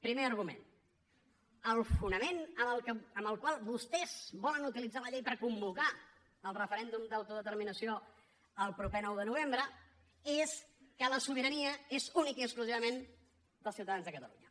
primer argument el fonament amb el qual vostès volen utilitzar la llei per convocar el referèndum d’autodeterminació el proper nou de novembre és que la sobirania és únicament i exclusivament dels ciutadans de catalunya